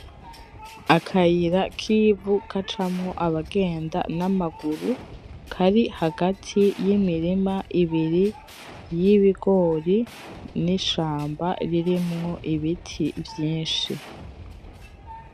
Akayira k'ivu gacamwo abagenda n'amaguru kari hagati y'imirima ibiri, y'ibigori n'ishamba ririmwo ibiti vyinshi.